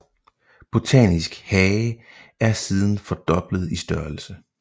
Botanisk hage er siden fordoblet i størrelse